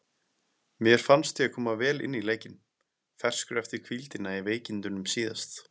Mér fannst ég koma vel inn í leikinn, ferskur eftir hvíldina í veikindunum síðast.